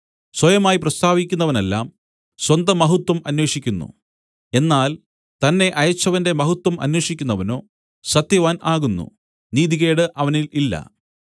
സ്വയമായി പ്രസ്താവിക്കുന്നവനെല്ലാം സ്വന്തമഹത്വം അന്വേഷിക്കുന്നു എന്നാൽ തന്നെ അയച്ചവന്റെ മഹത്വം അന്വേഷിക്കുന്നവനോ സത്യവാൻ ആകുന്നു നീതികേട് അവനിൽ ഇല്ല